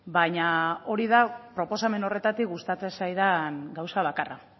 baina hori da proposamen horretatik gustatzen zaidan gauza bakarra